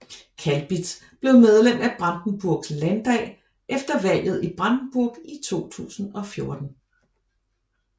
Kalbitz blev medlem af Brandenburgs landdag efter valget i Brandenburg i 2014